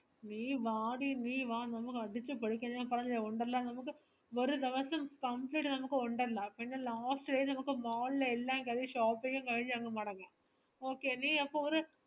നീ വാടി നീ വാ നമക് അടിച്ചു പൊളിക്കാം ഞാൻ പറഞ്ഞില്ലേ ഒണ്ടല്ലോ നമക് ഒരു ദിവസം complete നമക് ഒണ്ടല്ലോ പിന്നെ last day നമക് mall ലെ എല്ലാം കഴിഞ് shopping ഉം കഴിഞ് അങ്ങ് മടങ്ങാം okay നീ അപ്പൊ ഒരു